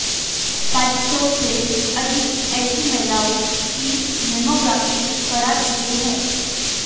पांच सौ से अधिक ऐसी महिलाओं की मैमोग्राफी करा चुके हैं